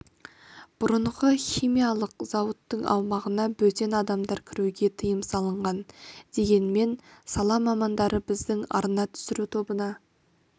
бұрынғы химиялық зауыттың аумағына бөтен адамдарға кіруге тыйым салынған дегенмен сала мамандары біздің арна түсіру тобына